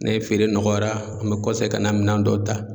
Ne feere nɔgɔyara an bɛ kɔse ka na minɛn dɔw ta.